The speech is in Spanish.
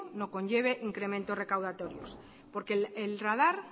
no conlleve incremento recaudatorios porque el radar